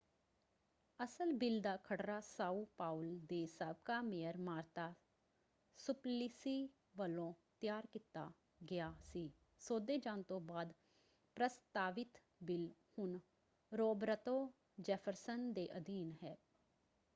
ਅਸਲ ਬਿੱਲ ਦਾ ਖਰੜਾ ਸਾਓ ਪਾਓਲ ਦੇ ਸਾਬਕਾ ਮੇਅਰ ਮਾਰਤਾ ਸੁਪਲਿਸੀ ਵੱਲੋਂ ਤਿਆਰ ਕੀਤਾ ਗਿਆ ਸੀ। ਸੋਧੇ ਜਾਣ ਤੋਂ ਬਾਅਦ ਪ੍ਰਸਤਾਵਿਤ ਬਿੱਲ ਹੁਣ ਰੋਬਰਤੋ ਜੈਫਰਸਨ ਦੇ ਅਧੀਨ ਹੈ।